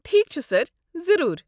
ٹھیک چھُ سر، ضروٗر۔